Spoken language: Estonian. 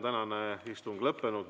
Tänane istung on lõppenud.